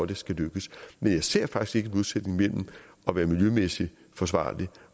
det skal lykkes men jeg ser faktisk modsætning mellem at være miljømæssig forsvarlig